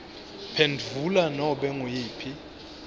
phendvula nobe nguyiphi